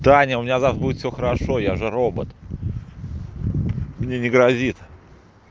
таня у меня завтра будет всё хорошо я же робот мне не грозит